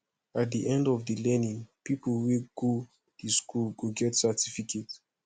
at the end of di learning pipo wey go di school go get cerificate